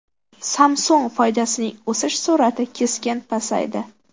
Samsung foydasining o‘sish sur’ati keskin pasaydi.